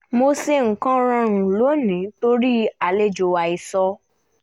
mo ṣe nǹkan rọrùn lónìí torí àlejò àìsọ